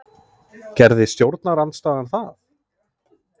Gerði stjórnarandstaðan það?